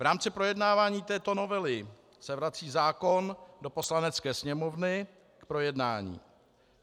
V rámci projednávání této novely se vrací zákon do Poslanecké sněmovny k projednání.